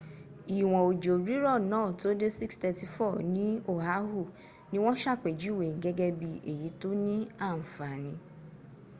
ìwọ́n ojò rírọ̀ náà tó dé 6.34 ní oahu ní wọ́n ṣàpèjúwè gẹ́gẹ́ bí èyí tóní àǹfàn.